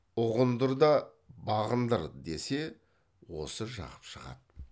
ұғындыр да бағындыр десе осы жақып шығады